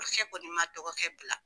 kɔni man dɔgɔkɛ bila.